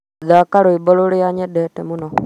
thaaka rwĩmbo rũrĩa nyendete mũno